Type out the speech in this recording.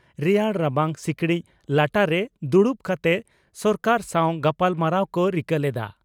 ᱨᱮᱭᱟᱲ ᱨᱟᱵᱟᱝ ᱥᱤᱠᱲᱤᱡ ᱞᱟᱴᱟᱨᱮ ᱫᱩᱲᱩᱵ ᱠᱟᱛᱮ ᱥᱚᱨᱠᱟᱨ ᱥᱟᱣ ᱜᱟᱞᱢᱟᱨᱟᱣ ᱠᱚ ᱨᱤᱠᱟᱹ ᱞᱮᱫᱼᱟ ᱾